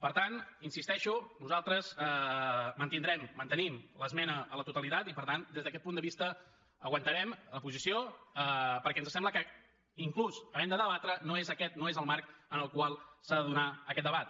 per tant hi insisteixo nosaltres mantindrem mantenim l’esmena a la totalitat i per tant des d’aquest punt de vista aguantarem la posició perquè ens sembla que tot i havent de debatre no és aquest el marc en el qual s’ha de donar aquest debat